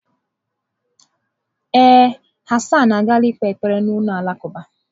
Ee, Hassan agaala ikpe ekpere na ụlọ alakụba.